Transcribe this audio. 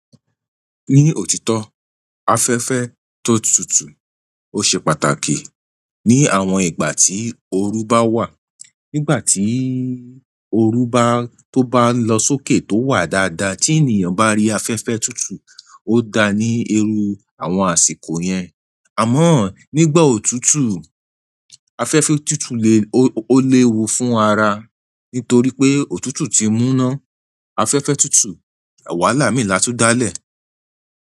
Ni òtítọ́, afẹ́fẹ́ ti o tutu, o se pàtàkì ni àwọn ìgbà ti oru bawa. Nígbà tí oru bá tó bá ń lọ sókè tó wà dáadáa, tí ènìyàn bá rí afẹ́fẹ́ tútù ó dáa ní irú àwọn àsìkò yẹn. Àmọ́ nígbà òtútù, afẹ́fẹ́ tútù le ó léwu fún ara nítorí pé òtútù ti mú ná afẹ́fẹ́ tútù wàhálà mi laatún dálẹ̀.